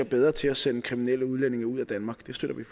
bedre til at sende kriminelle udlændinge ud af danmark